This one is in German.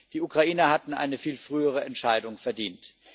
Die Ukrainer hatten eine viel frühere Entscheidung verdient.